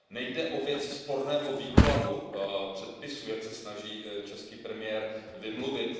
Nejde o věc sporného výkladu předpisu, jak se snaží český premiér vymluvit.